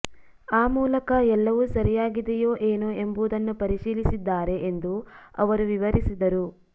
ಆ ಮೂಲಕ ಎಲ್ಲವೂ ಸರಿಯಾಗಿದೆಯೋ ಏನೋ ಎಂಬುದನ್ನು ಪರಿಶೀಲಿಸಲಿದ್ದಾರೆ ಎಂದು ಅವರು ವಿವರಿಸಿದರು